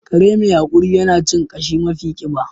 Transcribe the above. Kare mai haƙuri yana cin ƙashi mafi ƙiba